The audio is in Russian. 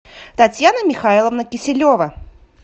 татьяна михайловна киселева